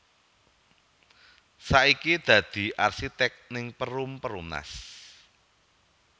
Saiki dadi arsitek ning Perum Perumnas